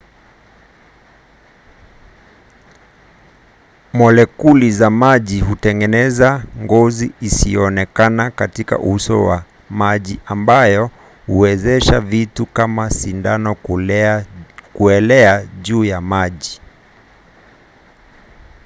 molekuli za maji hutengeneza ngozi isiyoonekana katika uso wa maji ambayo huwezesha vitu kama sindano kuelea juu ya maji